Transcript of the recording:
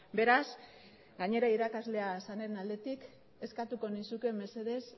beraz gainera irakaslea zaren aldetik eskatuko nizuke mesedez